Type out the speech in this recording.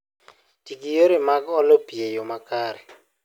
Ti gi yore mag olo pi e yo makare